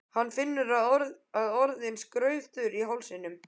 Hann finnur að hann er orðinn skraufþurr í hálsinum.